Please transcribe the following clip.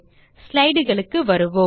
slideகளுக்கு வருவோம்